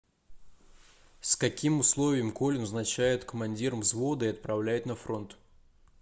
с каким условием колю назначают командиром взвода и отправляют на фронт